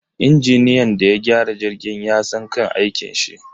Injiniyan da ya gyara jirgin yasan kan aikinshi